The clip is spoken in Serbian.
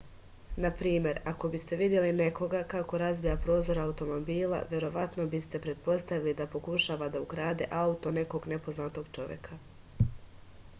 na primer ako biste videli nekoga kako razbija prozor automobila verovatno biste pretpostavili da pokušava da ukrade auto nekog nepoznatog čoveka